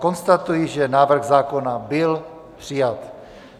Konstatuji, že návrh zákona byl přijat.